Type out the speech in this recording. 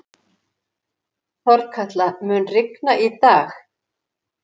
Þorkatla, mun rigna í dag?